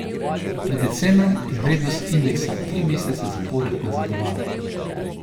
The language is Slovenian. Pred decembrom je vrednost indeksa tri mesece zapored nazadovala.